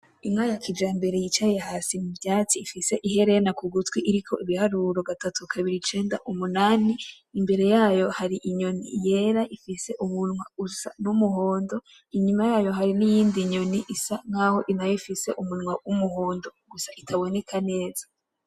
Inka ya kijambere yicaye ahantu muvyatsi ifise iherena kugutwi iriko ibiharuro gatatu kabiri icenda umunani, imbere yayo hari hari inyoni yera ifise umunwa wumuhondo inyuma yayo hariho niyindi nyoni isa nkaho nayo ifise umunwa wumuhondo gusa itaboneka neza.